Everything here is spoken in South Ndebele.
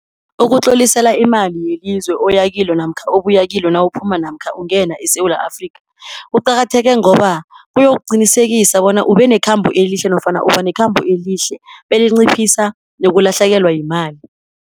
Ukutlolisela imali yelizwe oyakilo, namkha obuyakilo, nawuphuma namkha ungena eSewula Afrika, kuqakatheke ngoba kuyokuqinisekisa bona ube nekhambo elihle nofana ubanekhamba elihle, belinciphisa nokulahlekelwa yimali.